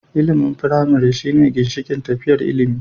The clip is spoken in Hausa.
Ilimin firamare shine ginshikin tafiyar ilimi.